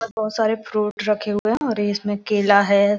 बहुत सारे फ्रूट रखे हुए है इसमें केला है